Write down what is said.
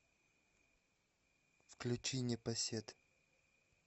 включи непосед